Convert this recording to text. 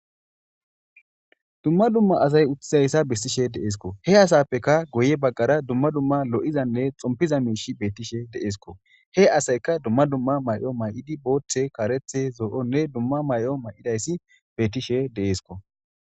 Dumma dumma asay uttidaysa besishe de'esiko. He asape guye bagara lo'izana xompiza miishay dizaysa besishe de'esko. He asayka dumma dumma mayo booththi,kareththi,zo'o mayidi dizays beetishe de'sko.